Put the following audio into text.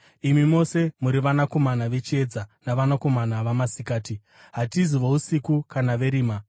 Imi mose muri vanakomana vechiedza navanakomana vamasikati. Hatizi vousiku kana verima.